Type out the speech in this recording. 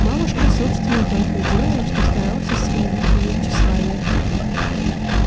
мамушка собственно только и делала что старалась искоренить её тщеславие